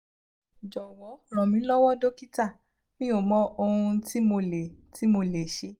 jowo ranmilowo dokita mi o mo ohun ti mo le ti mo le se